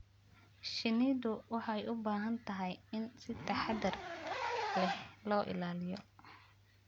Shinnidu waxay u baahan tahay in si taxadar leh loo ilaaliyo.